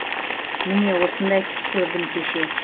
міне осындай түс көрдім кеше